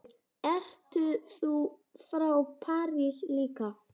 Ert þú frá París líka?